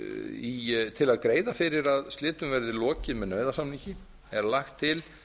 ákvarðana til að greiða fyrir að slitum verði lokið með nauðasamningi er lagt til